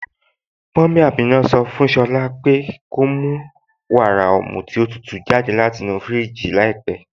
Mummy Ámínà sọ fún Shọ̀lá po ko mù wàrà ọ̀mù tí o tútú jàdẹ̀ láti inú fíríjì làípẹ̀.